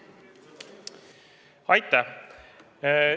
Aitäh!